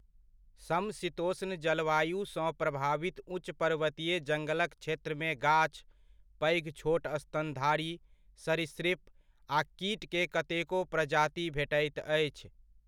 समशीतोष्ण जलवायुसँ प्रभावित उच्च पर्वतीय जङ्गलक क्षेत्रमे गाछ, पैघ छोट स्तनधारी, सरीसृप, आ कीट के कतेको प्रजाति भेटैत अछि।